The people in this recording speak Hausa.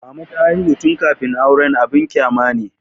Mama ta haihu tun kafin aure abin kyama ne.